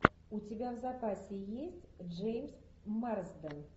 у тебя в запасе есть джеймс марсден